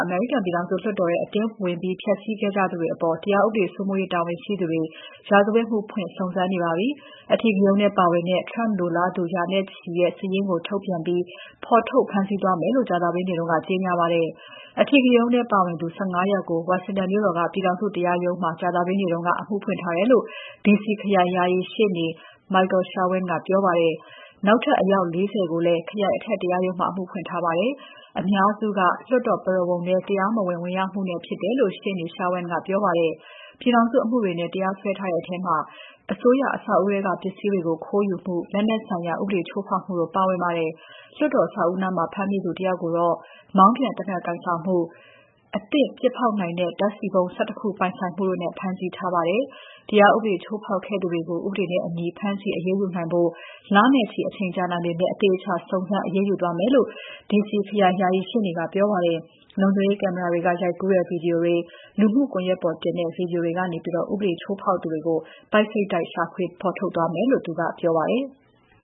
အမေရိကန်ပြည်ထောင်စု လွှတ်တော်ထဲ အတင်းဝင်ဖျက်ဆီးကြသူတွေအပေါ် တရားဥပဒေ စိုးမိုးရေးတာဝန်ရှိသူတွေ ရာဇဝတ်မှုဖွင့် စုံစမ်းနေပါပြီ။ အဓိကရုဏ်းထဲပါတဲ့ Trump လိုလားသူ ရာနဲ့ချီရဲ့ စာရင်းကိုထုတ်ပြန်ပြီး ဖော်ထုတ်ဖမ်းဆီးသွားမယ်လို့ ကြာသပတေးနေ့က ကြေညာပါတယ်။ အဓိကရုဏ်းထဲ ပါဝင်သူ ၁၅ ယောက်ကို ဝါရှင်တန်မြို့တော်က ပြည်ထောင်စုတရားရုံးမှာ ကြာသပတေးနေ့က အမှုဖွင့်ထားတယ်လို့ D.C ခရိုင် ယာယီရှေ့နေ Michael Sherwin ကပြောပါတယ်။ နောက်ထပ် အယောက် ၄၀ ကိုလည်း ခရိုင် အထက်တရားရုံးမှာ အမှုဖွင့်ထားပါတယ်။ အများစုက လွှတ်တော်ပုရဝုဏ်ထဲကို တရားမဝင် ဝင်ရောက်မှုနဲ့ဖြစ်တယ်လို့ ရှေ့နေ Sherwin ကပြောပါတယ်။ ပြည်ထောင်စုအမှုတွေနဲ့ တရားစွဲထားတဲ့ထဲမှာ အစိုးရအဆောက်အဦးထဲက ပစ္စည်းတွေ ခိုးယူမှု၊ လက်နက်ဆိုင်ရာ ဥပဒေချိုးဖောက်မှုတို့ ပါဝင်ပါတယ်။ လွှတ်တော် အဆောက်အဦးနားမှာ ဖမ်းမိသူ ၁ ယောက်ကိုတော့ မောင်းပြန်သေနတ်ကိုင်ဆောင်မှု၊ လက်လုပ် လောင်စာဆီဗုံး ၁၁ ခု ပိုင်ဆိုင်မှုတို့နဲ့ ဖမ်းဆီးထားပါတယ်။ တရားဥပဒေချိုးဖောက်ခဲ့သူတွေကို ဥပဒေနဲ့အညီ ဖမ်းဆီးအရေးယူနိုင်ဖို့ လနဲ့ချီ အချိန်ကြာနိုင်ပေမဲ့ အသေအချာ စုံစမ်းအရေးယူသွားမယ်လို့ D.C ခရိုင်ယာယီရှေ့နေက ပြောပါတယ်။ လုံခြုံရေးကင်မရာတွေက ရိုက်ကူးထားတဲ့ ဗီဒီယိုတွေ၊ လူမှုကွန်ယက်ပေါ်တင်တဲ့ ဗီဒီယိုတွေကနေ ဥပဒေချိုးဖောက်ခဲ့သူတွေကို ပိုက်စိတ်တိုက် ရှာဖွေ ဖော်ထုတ်သွားမယ်လို့ ပြောပါတယ်။